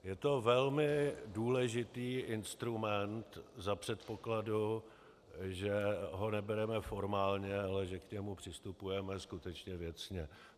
Je to velmi důležitý instrument za předpokladu, že ho nebereme formálně, ale že k němu přistupujeme skutečně věcně.